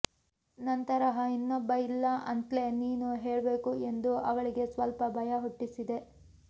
ನನ್ತರಹ ಇನ್ನೊಬ್ಬ ಇಲ್ಲ ಅಂತ್ಲೇ ನೀನು ಹೇಳ್ಬೇಕು ಎಂದು ಅವಳಿಗೆ ಸ್ವಲ್ಪ ಭಯ ಹುಟ್ಟಿಸಿದೆ